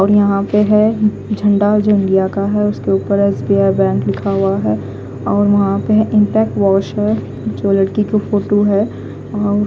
और यहा पे है झन्डा जो इंडिया का है उसके उपर स_बी_आई बैंक लिखा हुआ है और वहा पे इंपेक्ट वोश है जो लडकी की फोटू है और--